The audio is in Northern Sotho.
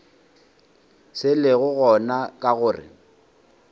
se lego gona ke gore